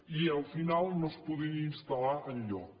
i al final no es podien instal·lar enlloc